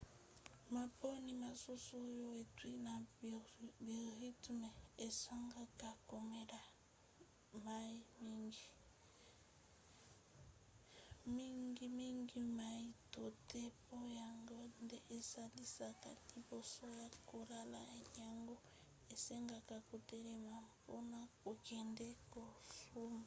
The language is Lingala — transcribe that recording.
maponi mosusu oyo euti na biorythme esengaka komela mai mingi mingimingi mai to the po yango nde esalisaka liboso ya kolala yango esengaka kotelema mpona kokende kosuba